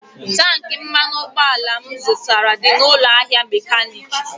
Tankị mmanụ ụgbọala m zụtara dị n'ụlọ ahịa mekaniiki.